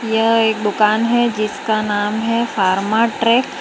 यह एक दुकान है जिसका नाम है फार्मट्रेक ।